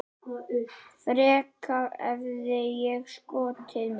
Frekar hefði ég skotið mig.